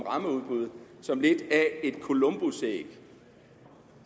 rammeudbud som lidt af et columbusæg